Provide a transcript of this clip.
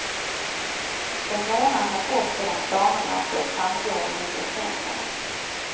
En månad har gått sedan planerna på ett samgående blev kända.